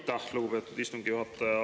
Aitäh, lugupeetud istungi juhataja!